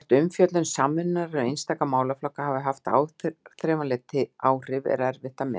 Hvort umfjöllun Samvinnunnar um einstaka málaflokka hafi haft áþreifanleg áhrif, er erfitt að meta.